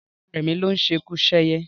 Rárá, rẹmi ló ń ṣekuṣẹyẹ